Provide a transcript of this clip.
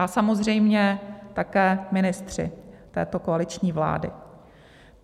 A samozřejmě také ministři této koaliční vlády.